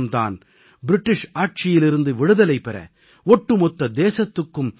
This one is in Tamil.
இந்தப் போராட்டம் தான் ஆங்கிலேயர் ஆட்சியிலிருந்து விடுதலை பெற ஒட்டுமொத்த தேசத்துக்கும்